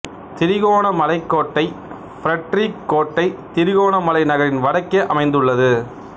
திருகோணமலை கோட்டை பிரட்ரிக் கோட்டை திருகோணமலை நகரின் வடக்கே அமைந்துள்ளது